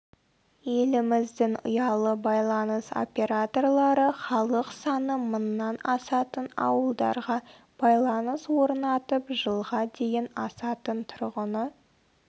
еліміздің ұялы байланыс операторлары халық саны мыңнан асатын ауылдарға байланыс орнатып жылға дейін асатын тұрғыны